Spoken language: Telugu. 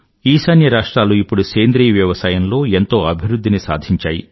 ఈశాన్య రాష్ట్రాలు ఇప్పుడు సేంద్రీయ వ్యవసాయంలో ఎంతో అభివృధ్ధిని సాధించాయి